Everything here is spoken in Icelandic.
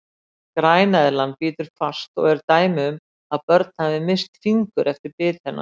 Græneðlan bítur fast og eru dæmi um að börn hafi misst fingur eftir bit hennar.